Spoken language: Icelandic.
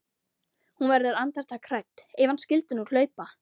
Hún verður andartak hrædd: Ef hann skyldi nú hlaupa.